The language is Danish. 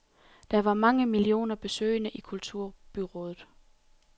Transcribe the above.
Der var mange millioner besøgende i kulturbyåret.